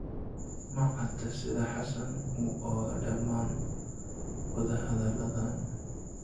Ma cadda sida xassan u ogaa dhammaan wada-hadalladan.